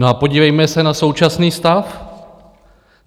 No a podívejme se na současný stav.